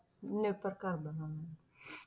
ਨਿਰਭਰ ਕਰਦਾ ਹਾਂ